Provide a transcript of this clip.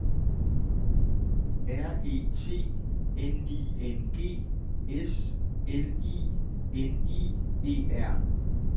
R E T N I N G S L I N I E R